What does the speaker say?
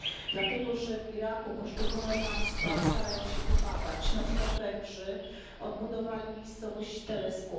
Dlatego, że w Iraku poszczególne państwa starają się pomagać, na przykład Węgrzy odbudowali miejscowość Telskuf.